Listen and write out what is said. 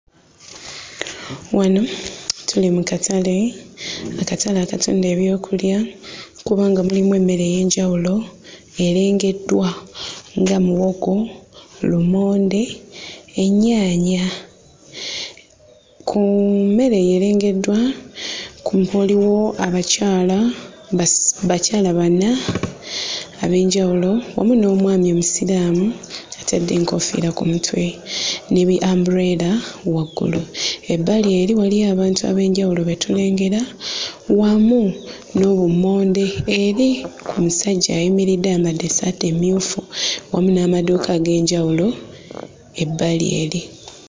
Wano tuli mu katale, akatale akatunda ebyokulya kubanga mulimu emmere ey'enjawulo erengeddwa nga muwogo, lumonde, ennyaanya. Ku mmere eyo erengeddwa ku waliwo abakyala basi... bakyala bana ab'enjawulo wamu n'omwami omusiraamu atadde enkoofiira ku mutwe ne bi-ambuleera waggulu. Ebbali eri waliyo abantu ab'enjawulo be tulengera wamu n'obummonde eri omusajja ayimiridde ayambadde essaati emmyufu wamu n'amaduuka ag'enjawulo ebbali eri.